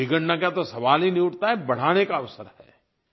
बिगड़ने का तो सवाल ही नहीं उठता है बढ़ाने का अवसर है